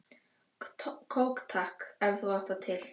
Kók takk, ef þú átt það til!